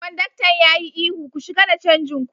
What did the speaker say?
Konduktan ya yi ihu, "Ku shiga da canjin ku!